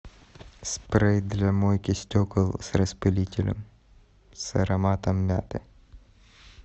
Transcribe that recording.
спрей для мойки стекол с распылителем с ароматом мяты